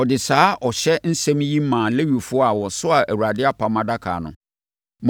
ɔde saa ɔhyɛ nsɛm yi maa Lewifoɔ a wɔsoaa Awurade apam adaka no: